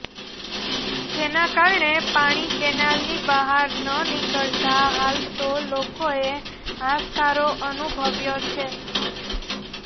જેના કારણે પાણી કેનાલની બહાર ન નિકળતા હાલ તો લોકો એ હાશકારો અનુભવ્યો છે